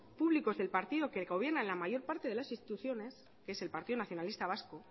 públicos del partido que gobierna en la mayor parte de las instituciones que es el partido nacionalista vasco